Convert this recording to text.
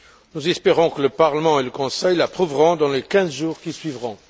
Nous espérons que le Parlement et le Conseil l'approuveront dans les quinze jours qui suivront.